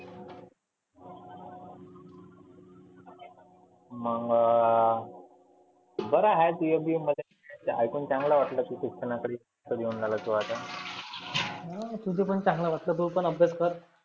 मंग बरं हाय तुया बी ऐकुन चांगल वाटल शिक्षणा कडे देऊन राहिला तु आता. तुझ पण चांगला तु पण अभ्यास कर